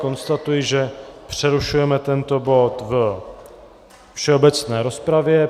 Konstatuji, že přerušujeme tento bod ve všeobecné rozpravě.